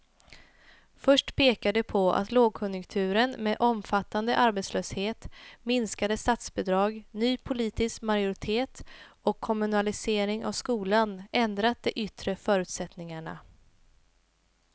Först pekar de på att lågkonjunkturen med omfattande arbetslöshet, minskade statsbidrag, ny politisk majoritet och kommunalisering av skolan ändrat de yttre förutsättningarna.